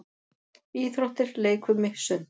Íþróttir- leikfimi- sund